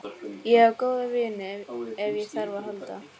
Ég á góða vini ef á þarf að halda.